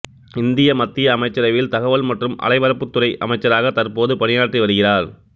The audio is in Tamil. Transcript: இந்திய மத்திய அமைச்சரவையில் தகவல் மற்றும் அலைபரப்புத் துறை அமைச்சராக தற்போது பணியாற்றி வருகிறார்